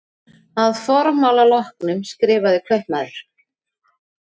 Að formála loknum skrifaði kaupmaður